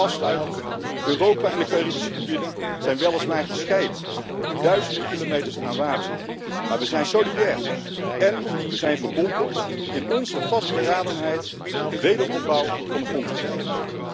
Afsluitend, Europa en de Caribische gebieden zijn weliswaar gescheiden door duizenden kilometers aan water, maar we zijn solidair en we zijn verbonden in onze vastberadenheid de wederopbouw van de grond te krijgen.